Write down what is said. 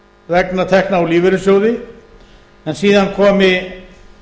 vegna tekna úr lífeyrissjóði en síðan komi